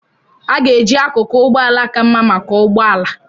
A ga-eji akụkụ ụgbọ ala ka mma maka ụgbọ ala.